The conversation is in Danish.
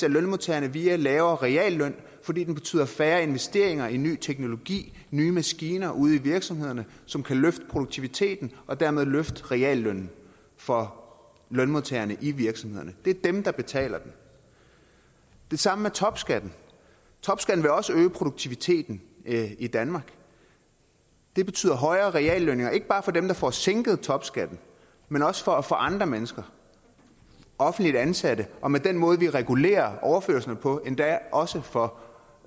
af lønmodtagerne via lavere realløn fordi den betyder færre investeringer i ny teknologi nye maskiner ude i virksomhederne som kan løfte produktiviteten og dermed løfte reallønnen for lønmodtagerne i virksomhederne det er dem der betaler den det samme med topskatten topskatten vil også øge produktiviteten i danmark det betyder højere reallønninger ikke bare for dem der får sænket topskatten men også for andre mennesker offentligt ansatte og med den måde vi regulerer overførslerne på endda også for